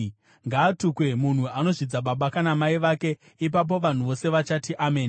“Ngaatukwe munhu anozvidza baba kana mai vake.” Ipapo vanhu vose vachati, “Ameni.”